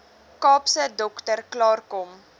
kaapse dokter klaarkom